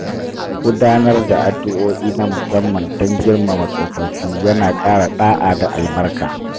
Gudanar da addu'o'i na musamman don girmama tsofaffi ya na ƙara ɗa’a da albarka.